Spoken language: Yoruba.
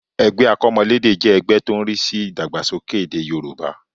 Ẹgbẹ́ akọ́mọlédè jẹ́ ẹgbẹ́ tó ń rí sí ìdàgbàsókè èdè Yorùbá